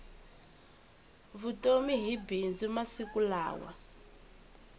vutomi hi bindzu masiku lawa